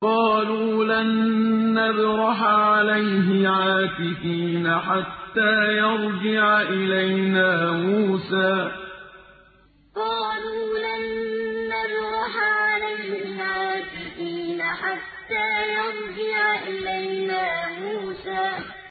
قَالُوا لَن نَّبْرَحَ عَلَيْهِ عَاكِفِينَ حَتَّىٰ يَرْجِعَ إِلَيْنَا مُوسَىٰ قَالُوا لَن نَّبْرَحَ عَلَيْهِ عَاكِفِينَ حَتَّىٰ يَرْجِعَ إِلَيْنَا مُوسَىٰ